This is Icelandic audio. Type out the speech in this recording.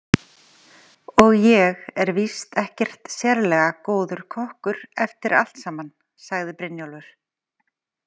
Og ég er víst ekkert sérlega góður kokkur eftir allt saman, sagði Brynjólfur.